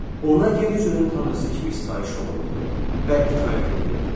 Ona yer üzünün tanrısı kimi sitayiş olunurdu və itaət edilirdi.